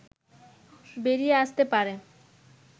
বেরিয়ে আসতে পারে